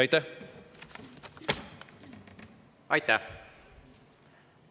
Aitäh!